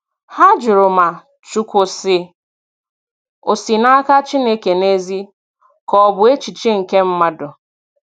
Ha jụrụ ma "Chukwu sị" o si n'aka Chineke n'ezie, ka ọ bụ echiche nke mmadụ.